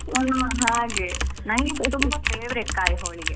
ನನ್ಗೆಸ ತುಂಬಾ favourite ಕಾಯ್ ಹೋಳಿಗೆ.